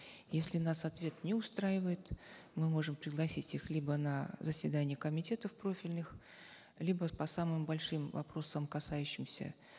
если нас ответ не устраивает мы можем пригласить их либо на заседание комитетов профильных либо по самым большим вопросам касающимся